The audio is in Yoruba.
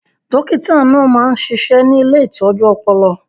Dókítà náà máa ń ṣiṣẹ́ ní ilé ìtọ́jú ọpọlọ